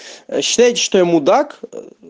считайте что я мудак